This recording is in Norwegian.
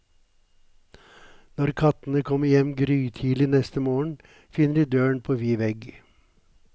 Når kattene kommer hjem grytidlig neste morgen, finner de døren på vid vegg.